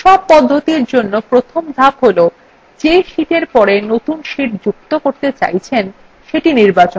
সব পদ্ধতির জন্য প্রথম ধাপ হল the sheetএর পরে নতুন sheet যুক্ত করতে চাইছেন সেটি নির্বাচন করুন